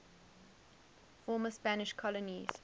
former spanish colonies